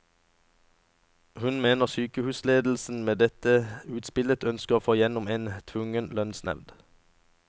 Hun mener sykehusledelsen med dette utspillet ønsker å få gjennom en tvungen lønnsnevnd.